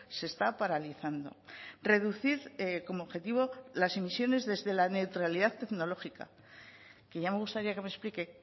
se está paralizando reducir como objetivo las emisiones desde la neutralidad tecnológica que ya me gustaría que me explique